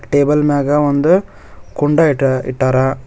table ಮ್ಯಾಗ ಒಂದು ಕುಂಡ ಇಟ-ಇಟ್ಟಾರ ಇವ್ರು--